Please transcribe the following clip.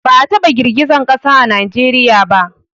Ba a taba girgizar ƙasa a Najeriya ba